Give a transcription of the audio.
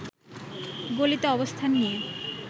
গলিতে অবস্থান নিয়ে